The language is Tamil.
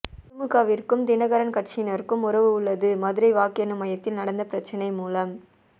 திமுகவிற்கும் தினகரன் கட்சியினருக்கும் உறவு உள்ளது மதுரை வாக்கு எண்ணும் மையத்தில் நடந்த பிரச்சனை மூலம்